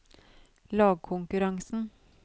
lagkonkurransen